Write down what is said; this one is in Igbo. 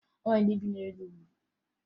O nwere ndị bi n'elu ugwu